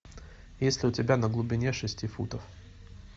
есть ли у тебя на глубине шести футов